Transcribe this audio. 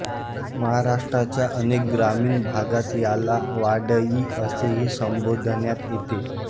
महाराष्ट्राच्या अनेक ग्रामीण भागात याला वाढई असेही संबोधण्यात येते